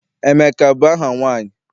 Emeka abụ aha nwaanyị?